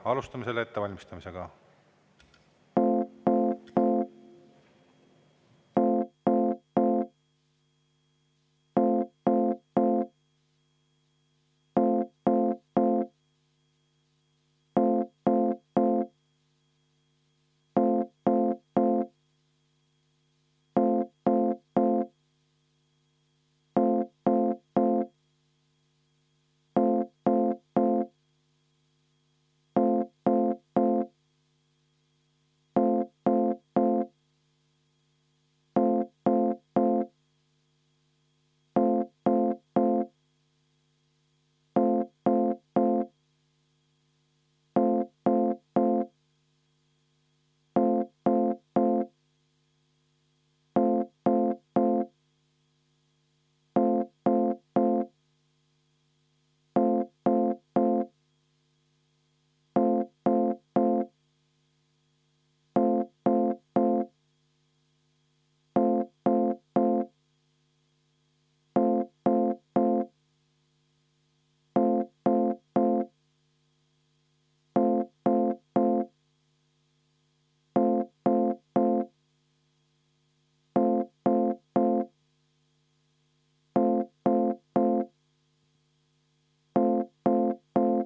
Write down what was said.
Alustame ettevalmistamist.